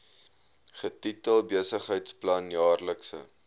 getitel besigheidsplan jaarlikse